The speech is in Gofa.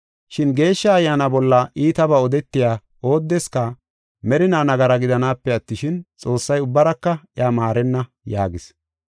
Shin Geeshsha Ayyaana bolla iitabaa odetiya oodeska merinaa nagara gidanaape attishin, Xoossay ubbaraka iya maarenna” yaagis.